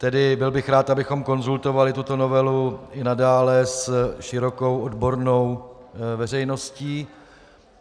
Tedy byl bych rád, abychom konzultovali tuto novelu i nadále s širokou odbornou veřejností.